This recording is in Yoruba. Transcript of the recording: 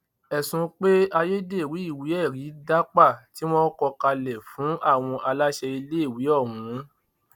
ẹsùn pe ayédèrú ìwéẹrí dápà tí wọn kọ kalẹ fún àwọn aláṣẹ iléèwé ọhún